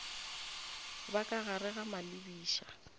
ba ka gare ga malebiša